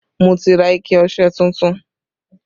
Mo ti ra ike ọṣẹ tuntun